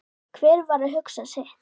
Hver var að hugsa sitt.